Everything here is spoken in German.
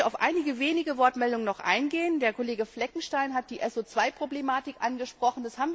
Ich möchte noch auf einige wenige Wortmeldungen eingehen Der Kollege Fleckenstein hat die SO 2 Problematik angesprochen.